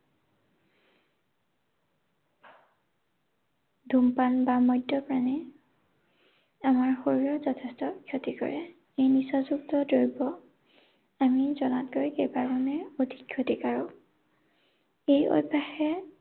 ধূমপান বা মদ্যপানে আমাৰ শৰীৰৰ যথেষ্ঠ ক্ষতি কৰে। নিচাযুক্ত দ্ৰব্য আমি জনাতকৈ সেইকাৰণে অধিক ক্ষতিকাৰক। এই অভ্যাসে